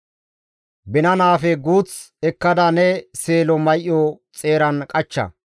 Binanappe guuth ekkada ne seelo may7o xeeran qachcha.